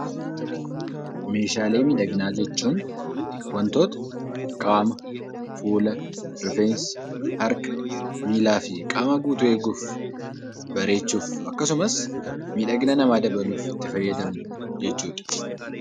Meeshaalee miidhaginaa jechuun wantoota qaama, fuula, rifeensa, harka, miilaa fi qaama guutuu eeguuf, bareechuuf, akkasumas miidhagina namaa dabaluuf itti fayyadamnu jechuu dha.